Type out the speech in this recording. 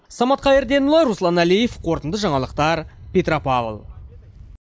самат қайырденұлы руслан әлиев қорытынды жаңалықтар петропавл